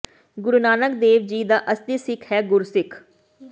ਗੁਰੂ ਨਾਨਕ ਦੇਵ ਜੀ ਦਾ ਅਸਲੀ ਸਿੱਖ ਹੈ ਇਹ ਗੁਰਸਿੱਖ